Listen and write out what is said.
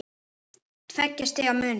Tveggja stiga munur.